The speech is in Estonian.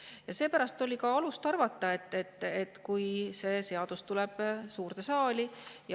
Ja seepärast oligi alust arvata, et kui see tuleb suurde saali …